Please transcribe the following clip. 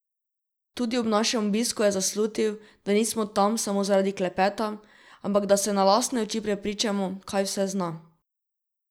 Tudi ob našem obisku je zaslutil, da nismo tam samo zaradi klepeta, ampak da se na lastne oči prepričamo, kaj vse zna.